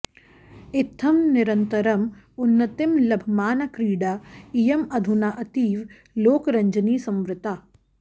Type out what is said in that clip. इत्थं निरन्तरम् उन्नतिं लभमाना क्रीडा इयम् अधुना अतीव लोकरञ्जनी संवृत्ता